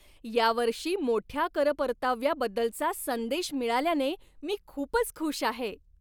या वर्षी मोठ्या कर परताव्याबद्दलचा संदेश मिळाल्याने मी खूपच खुश आहे.